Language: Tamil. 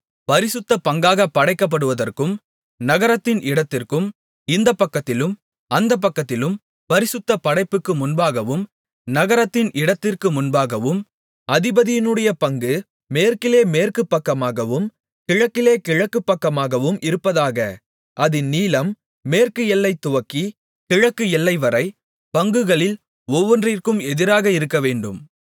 பரிசுத்த பங்காகப் படைக்கப்பட்டதற்கும் நகரத்தின் இடத்திற்கும் இந்தப்பக்கத்திலும் அந்தப்பக்கத்திலும் பரிசுத்தப் படைப்புக்கு முன்பாகவும் நகரத்தின் இடத்திற்கு முன்பாகவும் அதிபதியினுடைய பங்கு மேற்கிலே மேற்கு பக்கமாகவும் கிழக்கிலே கிழக்கு பக்கமாகவும் இருப்பதாக அதின் நீளம் மேற்கு எல்லை துவக்கிக் கிழக்கு எல்லைவரை பங்குகளில் ஒவ்வொன்றுக்கும் எதிராக இருக்கவேண்டும்